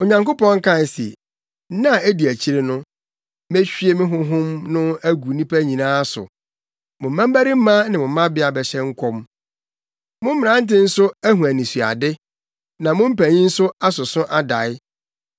“ ‘Onyankopɔn kae se, nna a edi akyiri no, mehwie me Honhom no agu nnipa nyinaa so. Mo mmabarima ne mo mmabea bɛhyɛ nkɔm, mo mmerante nso ahu anisoade. Na mo mpanyin nso asoso adae.